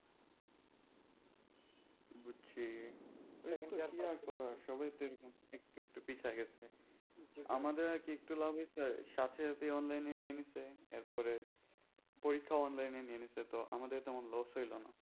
বুঝছি কিন্তু কি আর করা সবাই তো এরকম একটু একটু পিছিয়ে গেছে আমাদের আর কি একটু লাভ হইছে সাথে সাথে online এ নিয়ে নিয়েছে এরপরে পরীক্ষা online এ নিয়ে নিয়েছে তো আমাদের loss হইল না।